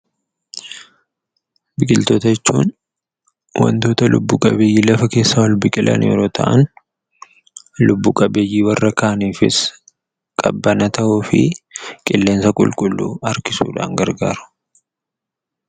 Biqiltoota jechuun waantota lubbu qabeeyyii lafa keessaa ol biqilan yemmuu ta'an, lubbu qabeeyyii warra kaaniifis qabbana ta'uu fi qilleensa qulqulluu harkisuudhaan gargaaru.